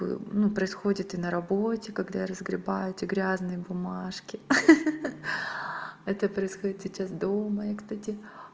ну происходит и на работе когда я разгребать эти грязные бумажки хи-хи это происходит сейчас дома я кстати